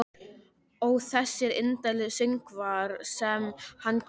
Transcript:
Ó þessir indælu söngvar sem hann kunni.